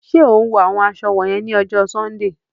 Ṣe o ń wọ awọn aṣọ wọnyẹn ni ọjọ Sundee?